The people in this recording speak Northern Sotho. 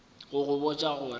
go go botša go re